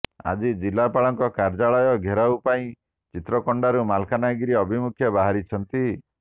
ଆଜି ଜିଲ୍ଲାପାଳଙ୍କ କାର୍ଯ୍ୟାଳୟ ଘେରାଉ ପାଇଁ ଚିତ୍ରକୋଣ୍ଡାରୁ ମାଲକାନଗିରି ଅଭିମୁଖେ ବାହାରିଛନ୍ତି